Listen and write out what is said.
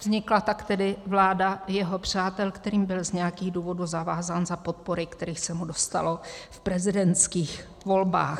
Vznikla tak tedy vláda jeho přátel, kterým byl z nějakých důvodů zavázán za podpory, kterých se mu dostalo v prezidentských volbách.